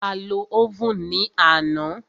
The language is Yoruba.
A lo óvùn ní àná.